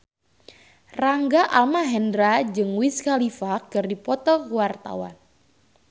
Rangga Almahendra jeung Wiz Khalifa keur dipoto ku wartawan